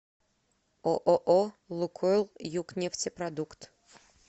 ооо лукойл югнефтепродукт